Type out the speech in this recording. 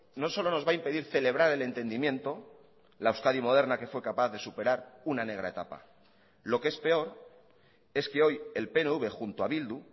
no solo nos va a impedir celebrar el entendimiento la euskadi moderna que fue capaz de superar una negra etapa lo que es peor es que hoy el pnv junto a bildu